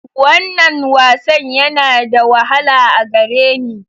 Wannan wasan yana da wahala a gare ni.